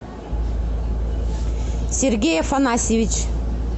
сергей афанасьевич